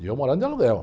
E eu morando de aluguel.